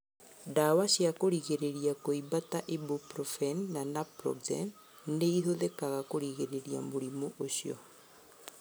Ndawa cia kũrigĩrĩria kũimba ta ibuprofen na naproxen nĩ ĩhũthĩkaga kũrigita mũrimũ ũcio.